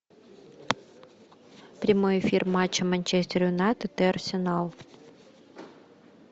прямой эфир матча манчестер юнайтед и арсенал